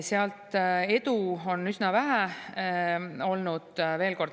Seal edu on üsna vähe olnud.